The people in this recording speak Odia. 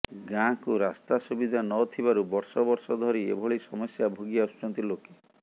ଗାଁକୁ ରାସ୍ତା ସୁବିଧା ନଥିବାରୁ ବର୍ଷ ବର୍ଷ ଧରି ଏଭିଳି ସମସ୍ୟା ଭୋଗି ଆସୁଛନ୍ତି ଲୋକେ